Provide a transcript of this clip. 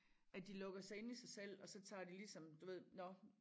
At de lukker sig inde i sig selv og så tager de ligesom nå